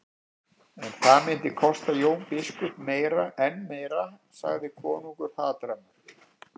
En það myndi kosta Jón biskup enn meira, sagði konungur hatrammur.